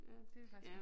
Ja det ville faktisk være